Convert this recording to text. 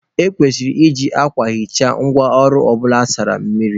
E kwesịrị iji akwa hichaa ngwa ọrụ ọbụla a sara mmiri.